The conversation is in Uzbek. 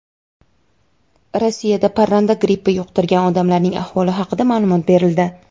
Rossiyada parranda grippi yuqtirgan odamlarning ahvoli haqida ma’lumot berildi.